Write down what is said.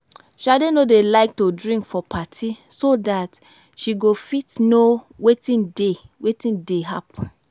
Shade no dey like to drink for party so dat she go fit know wetin dey wetin dey happen